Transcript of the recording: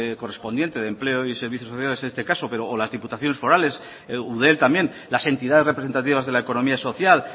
correspondiente de empleo y servicios sociales en este caso o las diputaciones forales eudel también las entidades representativas de la economía social